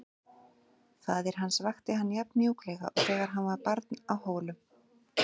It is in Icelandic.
Faðir hans vakti hann jafn mjúklega og þegar hann var barn á Hólum.